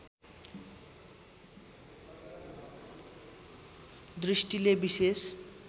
दृष्टिले विशेष